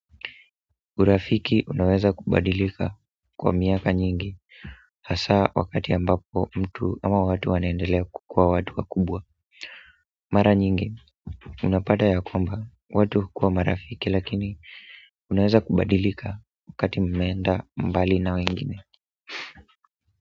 Urafiki unaweza kubadilika kwa miaka nyingi hasa wakati ambapo mtu ama watu wanaendelea kukuwa watu wakubwa mara nyingi unapata ya kwamba watu hukuwa marafiki lakini unaweza kubadilika wakati mmeenda mbali na wengine.